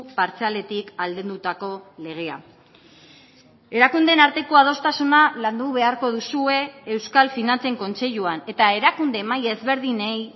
partzialetik aldendutako legea erakundeen arteko adostasuna landu beharko duzue euskal finantzen kontseiluan eta erakunde maila ezberdinei